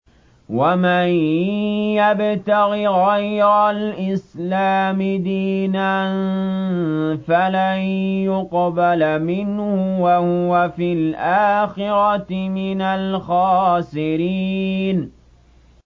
وَمَن يَبْتَغِ غَيْرَ الْإِسْلَامِ دِينًا فَلَن يُقْبَلَ مِنْهُ وَهُوَ فِي الْآخِرَةِ مِنَ الْخَاسِرِينَ